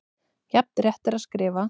Jafn rétt er að skrifa